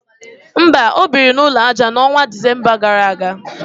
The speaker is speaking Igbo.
mba, o biri n’ụlọ aja, n’ọnwa Disemba gara aga